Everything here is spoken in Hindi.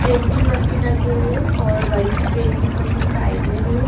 पेंटिंग मशीन रखी हुई है और बड़ी सी प्रिंटिंग मशीन साइड में भी है।